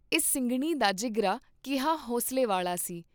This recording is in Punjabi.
ਇਸ ਸਿੰਘਣੀ ਦਾ ਜਿਗਰਾ ਕਿਹਾ ਹੌਂਸਲੇ ਵਾਲਾ ਸੀ।